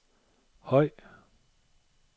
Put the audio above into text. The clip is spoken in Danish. høj